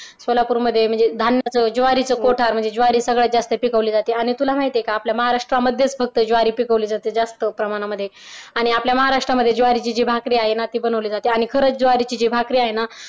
सोलापूर मध्ये म्हणजे धान्याच ज्वारीच कोठार म्हणजे ज्वारी सगळ्यात जास्त पिकवली जाते आणि तुला माहिते का? आपल्या महाराष्ट्र मध्ये फक्त ज्वारी पिकवली जाते जास्त प्रमाणामध्ये आणि आपल्या महाराष्ट्रामध्ये ज्वारीची भाकरी बनवली जाते आणि खरच ज्वारीची भाकरी आहे ना